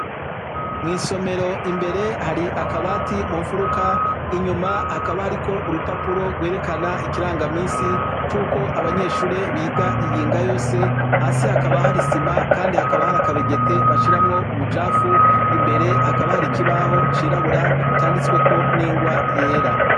Mu isomero imbere hari akabati mu nfuruka inyuma hakaba hariko urupapuro rwerekana ikirangaminsi cuko abanyeshuri biga iyinga yose hasi hakaba hari isima kandi hakaba hari akabegeti bashiramwo umucafu imbere hakaba hari ikibaho cirabura canditsweko n'ingwa yera.